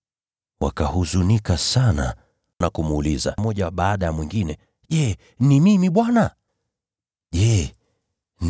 Wakahuzunika sana, wakaanza kumuuliza mmoja baada ya mwingine, “Je, ni mimi Bwana?”